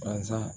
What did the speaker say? Baransan